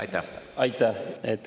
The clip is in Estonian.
Aitäh!